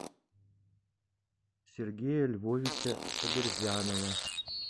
сергея львовича сабирзянова